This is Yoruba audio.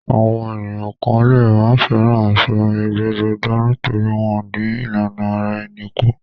Àwọn ènìyàn kan lè má fẹ́ràn aṣọ ẹgbẹ́jọdá nítorí wọ́n dín ìlànà ara ẹni kù.